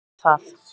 Ekki orð um það!